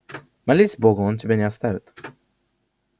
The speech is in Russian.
молись богу он тебя не оставит